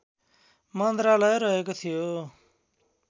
मन्त्रालय रहेको थियो